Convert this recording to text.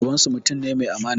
Babansu mutum ne mai amana